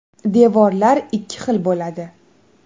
Devorlar ikki xil bo‘ladi.